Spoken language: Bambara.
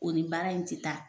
O ni baara in ti taa